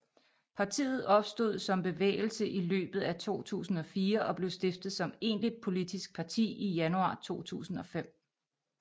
Partiet opstod som bevægelse i løbet af 2004 og blev stiftet som egentligt politisk parti i januar 2005